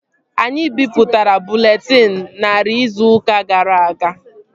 Anyị bipụtara bụleetịn narị izu ụka gara aga